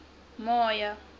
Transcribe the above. moyo